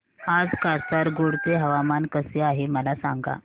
आज कासारगोड चे हवामान कसे आहे मला सांगा